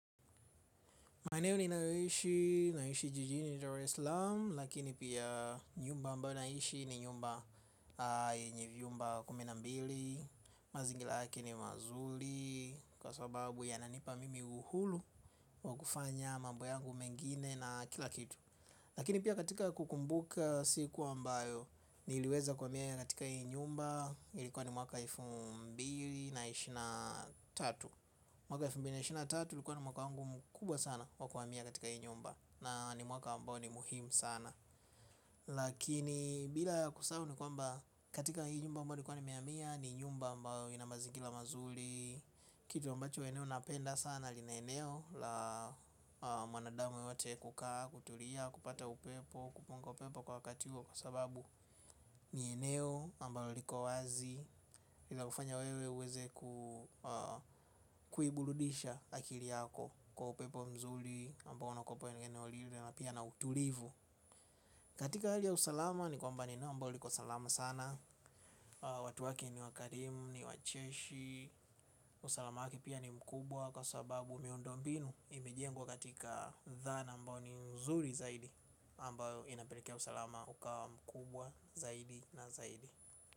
Maneo ninayoishi, Naishi Jijini dar es sam, lakini pia nyumba ambayo naishi ni nyumba nye vyumba kumi na mbili, mazingira yake ni mazuri, kwa sababu yananipa mimi uhuru wa kufanya mambo yangu mengine na kila kitu. Lakini pia katika kukumbuka siku ambayo ni iliweza kuhamia katika hii nyumba ilikuwa ni mwaka elfu mbili na ishirini na tatu. Mwaka elfu mbili na ishirini na tatu ulikuwa ni mwaka wangu mkubwa sana wa kuhamia katika hii nyumba na ni mwaka ambayo ni muhimu sana. Lakini bila kusahau ni kwamba katika hii nyumba ambayo likuwa nimehamia ni nyumba ambayo inamazingira mazuri. Kitu ambacho eneo napenda sana lina eneo la mwanadamu yote kukaa, kutulia, kupata upepo, kupunga upepo kwa wakati huo kwa sababu ni eneo ambalo liko wazi ila hufanya wewe uweze kuiburudisha akili yako. Kwa upepo mzuri ambao unakupo eneo lile na pia na utulivu. Katika hali ya usalama ni kwamba ni eneo ambao liko salama sana. Watu wake ni wakarimu, ni wacheshi. Usalama wake pia ni mkubwa kwa sababu miundo mbinu imejengwa katika dhana ambao ni mzuri zaidi ambayo inapelikea usalama ukao mkubwa zaidi na zaidi.